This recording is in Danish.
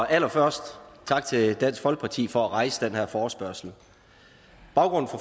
allerførst tak til dansk folkeparti for at rejse den her forespørgsel baggrunden